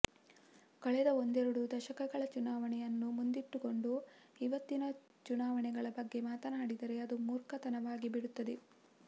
ಕಳೆದ ಒಂದೆರಡು ದಶಕಗಳ ಚುನಾವಣೆಯನ್ನು ಮುಂದಿಟ್ಟುಕೊಂಡು ಇವತ್ತಿನ ಚುನಾವಣೆಗಳ ಬಗ್ಗೆ ಮಾತನಾಡಿದರೆ ಅದು ಮೂರ್ಖತನವಾಗಿ ಬಿಡುತ್ತದೆ